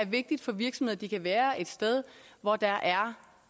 vigtigt for virksomheder at de kan være et sted hvor der